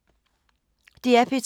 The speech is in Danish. DR P2